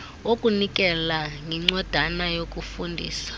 wokunikela ngencwadana yokufundisa